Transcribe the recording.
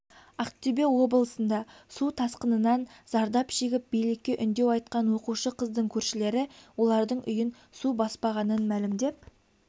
ақтөбеоблысында су тасқынынан зардап шегіп билікке үндеу айтқан оқушы қыздың көршілері олардың үйін су баспағанын мәлімдеп